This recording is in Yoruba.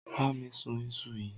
Bá mi sún ìṣù yí.